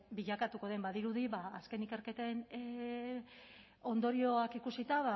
bilakatuko den badirudi ba azken ikerketen ondorioak ikusita